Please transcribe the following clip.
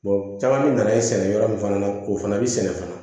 caman mi nana yen sɛnɛ yɔrɔ min fana na o fana bɛ sɛnɛ fana